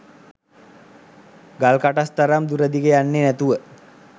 ගල් කටස් තරම් දුර දිග යන්නෙ නැතුව